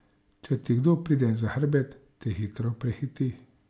Če ti kdo pride za hrbet, te hitro prehiti.